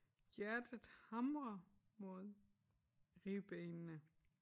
Hjertet hamrer mod ribbenene